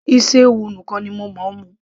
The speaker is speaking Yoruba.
isi ewu nìkan ni mo mú